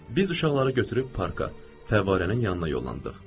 Biz uşaqları götürüb parka, fəvvarənin yanına yollandıq.